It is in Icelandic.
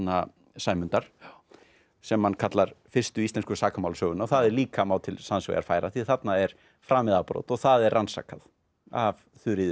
Sæmundar sem hann kallar fyrstu íslensku sakamálasöguna og það líka má til sanns vegar færa því þarna er framið afbrot og það er rannsakað af Þuríði